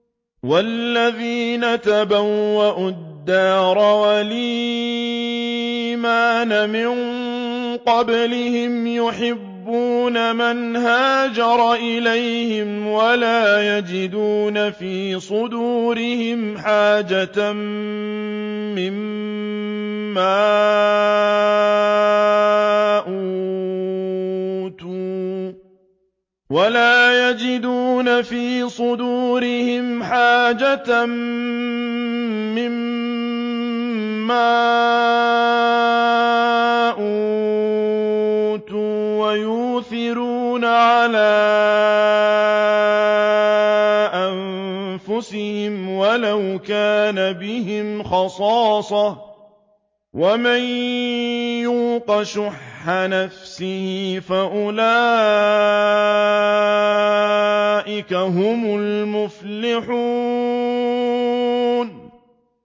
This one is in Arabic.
وَالَّذِينَ تَبَوَّءُوا الدَّارَ وَالْإِيمَانَ مِن قَبْلِهِمْ يُحِبُّونَ مَنْ هَاجَرَ إِلَيْهِمْ وَلَا يَجِدُونَ فِي صُدُورِهِمْ حَاجَةً مِّمَّا أُوتُوا وَيُؤْثِرُونَ عَلَىٰ أَنفُسِهِمْ وَلَوْ كَانَ بِهِمْ خَصَاصَةٌ ۚ وَمَن يُوقَ شُحَّ نَفْسِهِ فَأُولَٰئِكَ هُمُ الْمُفْلِحُونَ